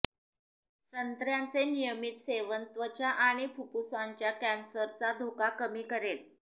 संत्र्याचे नियमित सेवन त्वचा आणि फुफ्फुसांच्या कॅन्सरचा धोका कमी करेल